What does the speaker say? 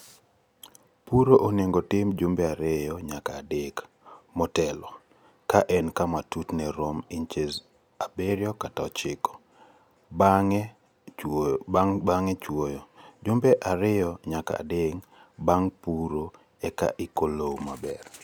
Puro onego otim jumbe 2 nyaka 3 motelo ka en kama tutne romo inches 7-9 bang'e chwoyo, jumbe 2 nyaka 3 bang' puro eka iko lowo maber.